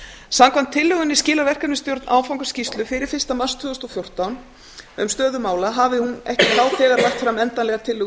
samkvæmt tillögunni skilar verkefnisstjórn áfangaskýrslu fyrir fyrsta mars tvö þúsund og fjórtán um stöðu mála hafi hún ekki þá þegar lagt fram endanlegar tillögur